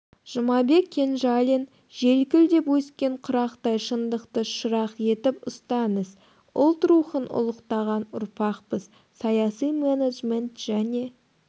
жұмабек кенжалин желкілдеп өскен құрақтай шындықты шырақ етіп ұстаңыз ұлт рухын ұлықтаған ұрпақпыз саяси менеджмент және